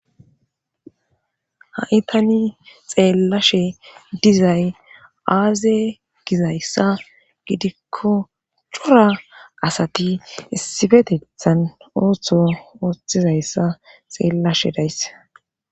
ha7i tani xeellashe dizay aaze gizayssa gidikko cura asati issibetethan ooththo xeellashe dayse